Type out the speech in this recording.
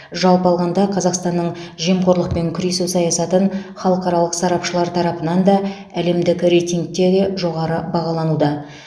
жалпы алғанда қазақстанның жемқорлықпен күресу саясатын халықаралық сарапшылар тарапынан да әлемдік рейтингте де жоғары бағалануда